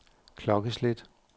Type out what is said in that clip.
klokkeslæt